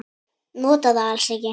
Nota það alls ekki.